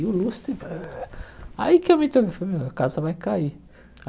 E o lustre... Aí que eu me toquei, falei, meu, a casa vai cair.